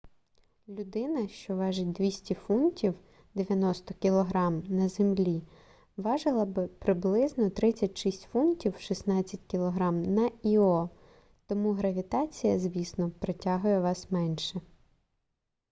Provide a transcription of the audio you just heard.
людина що важить 200 фунтів 90 кг на землі важила би приблизно 36 фунтів 16 кг на іо. тому гравітація звісно притягує вас менше